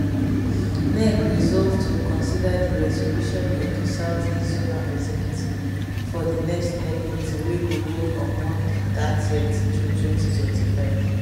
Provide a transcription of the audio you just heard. nec resolve to consider di resolution of di south east zonal executive for di next nec meeting wey go hold on monday 30th june 2025